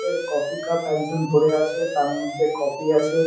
Coffee cup একজন ধরে আছে। তারমধ্যে কফি আছে।